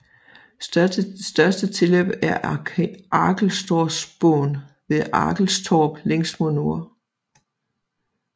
Største tilløb er Arkelstorpsån ved Arkelstorp længst mod nord